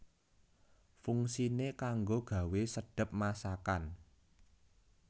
Fungsiné kanggo gawé sedhep masakan